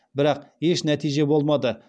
бірақ еш нәтиже болмады